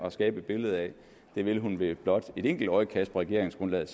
at skabe et billede af vil hun med blot et enkelt øjekast på regeringsgrundlaget